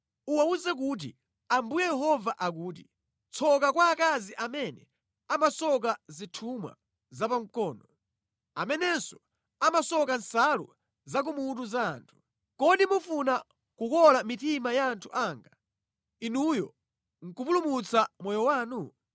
Uwawuze kuti, ‘Ambuye Yehova akuti: Tsoka kwa akazi amene amasoka zithumwa zapamkono, amenenso amasoka nsalu za kumutu za anthu. Kodi mufuna kukola mitima ya anthu anga, inuyo nʼkupulumutsa moyo wanu?